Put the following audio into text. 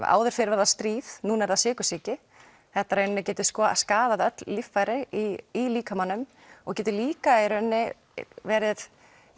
áður fyrr var það stríð núna er það sykursýki þetta getur skaðað öll líffæri í líkamanum og getur líka verið